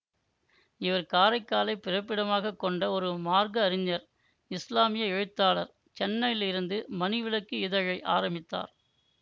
இவர் காரைக்காலைப் பிறப்பிடமாக கொண்ட ஒரு மார்க்க அறிஞர் இசுலாமிய எழுத்தாளர் சென்னையிலிருந்து மணிவிளக்கு இதழை ஆரம்பித்தார்